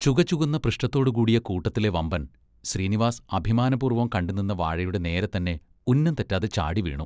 ചുകചുകന്ന പൃഷ്ഠത്തോടുകൂടിയ കൂട്ടത്തിലെ വമ്പൻ, ശ്രീനിവാസ് അഭിമാനപൂർവം കണ്ടുനിന്ന വാഴയുടെ നേരെത്തന്നെ ഉന്നംതെറ്റാതെ ചാടിവീണു.